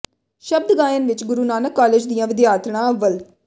ਸ਼ਬਦ ਗਾਇਨ ਵਿਚ ਗੁਰੂ ਨਾਨਕ ਕਾਲਜ ਦੀਆਂ ਵਿਦਿਆਰਥਣਾਂ ਅੱਵਲ